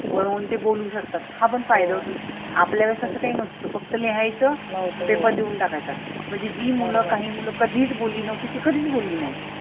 उभराहून ते बोलू शकतात. हा पण फायदा होतोना. आपल्या वेळेस असं काही नव्हत फक्त लिहायच paper देऊन टाकायचा. म्हणजे जी मुलं काही कधीच बोलली नव्हती, ती कधीच बोलली नाही.